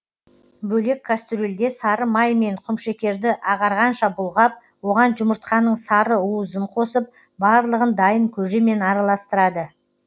бөлек кастрюльде сары май мен құмшекерді ағарғанша бұлғап оған жұмыртқаның сары уызын қосып барлығын дайын көжемен араластырады